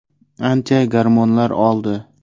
Ancha gormonlar oldi.